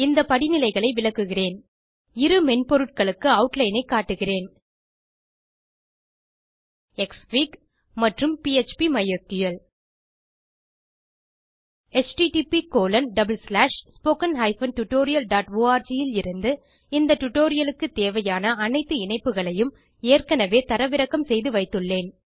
இந்த படிநிலைகளை விளக்குகிறேன் இரு மென்பொருட்களுக்கு ஆட்லைன் ஐ காட்டுகிறேன் க்ஸ்ஃபிக் மற்றும் phpமைஸ்கிள் httpspoken tutorialorg இல் இருந்து இந்த டியூட்டோரியல் க்கு தேவையான அனைத்து இணைப்புகளையும் ஏற்கனவே தரவிறக்கம் செய்து வைத்துள்ளேன்